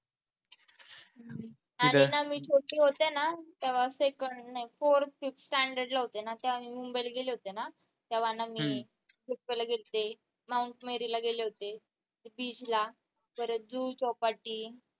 आणि ना मी छोटे होते ना तेव्हा असेल एक fourth fifth ला होते ना तेव्हा मी मुंबईला गेले होते ना तेव्हा ना मी गेले होते mount merry ला गेले होते. beach ला परत जुहू चौपाटी